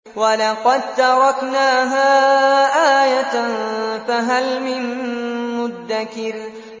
وَلَقَد تَّرَكْنَاهَا آيَةً فَهَلْ مِن مُّدَّكِرٍ